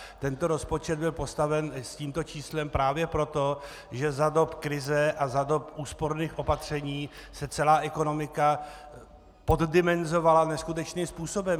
Tento rozpočet byl postaven s tímto číslem právě proto, že za dob krize a za dob úsporných opatření se celá ekonomika poddimenzovala neskutečným způsobem.